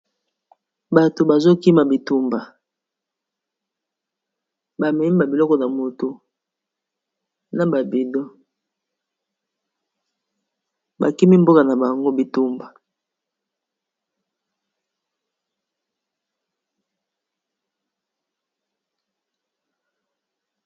Bato bazokima bitumba bameiba biloko na moto na babido bakimi mboka na bango bitumba.